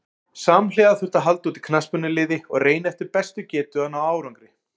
Samhliða þurfti að halda úti knattspyrnuliði og reyna eftir bestu getu að ná árangri.